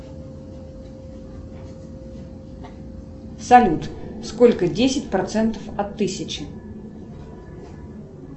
салют сколько десять процентов от тысячи